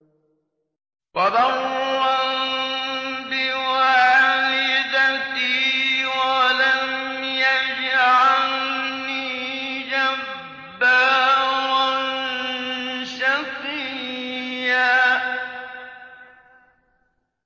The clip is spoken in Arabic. وَبَرًّا بِوَالِدَتِي وَلَمْ يَجْعَلْنِي جَبَّارًا شَقِيًّا